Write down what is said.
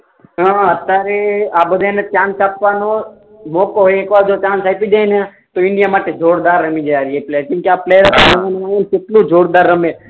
હા અત્યારે આ બધાને ચાન્સ આપવાનો મોકો એક વાર જો ચાન્સ આપી દઈએ ને તો ઇન્ડિયા માટે જોરદાર રમી જાય એટલે કેમ કે આ પ્લેયર કેટલું જોરદાર રમે